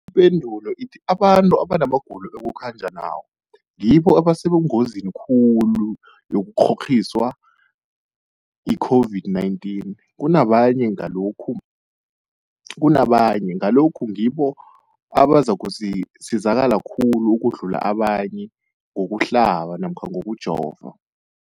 Ipendulo, abantu abanamagulo ekukhanjwa nawo ngibo abasengozini khulu yokukghokghiswa yi-COVID-19 kunabanye, Ngalokhu-ke ngibo abazakusizakala khulu ukudlula abanye ngokuhlaba namkha ngokujova.